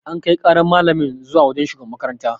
An Kai ƙaran malamin zuwa wajan shugaban makaranta